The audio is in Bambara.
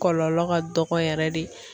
Kɔlɔlɔ ka dɔgɔ yɛrɛ de.